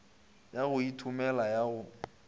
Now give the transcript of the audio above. ya go ithomela ya go